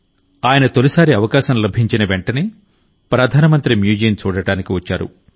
ఆయన తొలిసారి అవకాశం లభించిన వెంటనే ప్రధాన మంత్రి మ్యూజియం చూడటానికి వచ్చారు